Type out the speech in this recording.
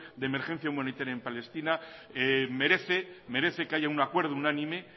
de emergencia humanitaria en palestina merece que haya un acuerdo unánime